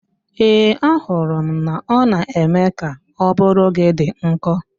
Ee, ahụrụ m na ọ na-eme ka ụbụrụ gi dị nkọ